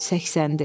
Səksəndi.